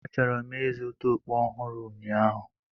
Achọrọ m ịzụta okpu ọhụrụ ụnyaahụ.